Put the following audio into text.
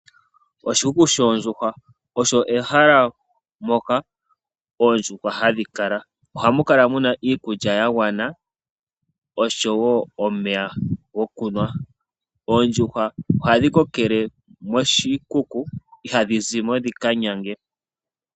Oshikuku shoondjuhwa Osho ehala moka oondjuhwa hadhi kala. Ohamu kala mu na iikulya nomeya ga gwana. Oondjuhwa ohadhi kokele koshikuku, ihadhi zi ko dhi ka nyange.